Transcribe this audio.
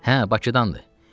Hə, Bakıdandır.